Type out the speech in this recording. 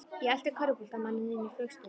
Ég elti körfuboltamanninn inn í flugstöðina.